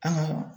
An ka